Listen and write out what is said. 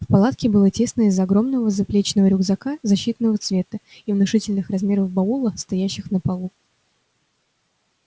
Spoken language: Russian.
в палатке было тесно из-за огромного заплечного рюкзака защитного цвета и внушительных размеров баула стоящих на полу